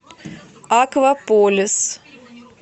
акваполис